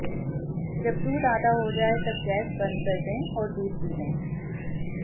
जब दूध आधा हो जाए तब गैस बंद कर दें और दूध पी लें